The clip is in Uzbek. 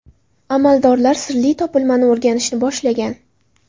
Amaldorlar sirli topilmani o‘rganishni boshlagan.